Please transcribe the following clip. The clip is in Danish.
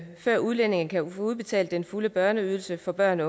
før udlændinge kan få udbetalt den fulde børneydelse for børn